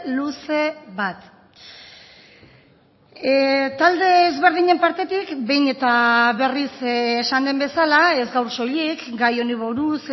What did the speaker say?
luze bat talde ezberdinen partetik behin eta berriz esan den bezala ez gaur soilik gai honi buruz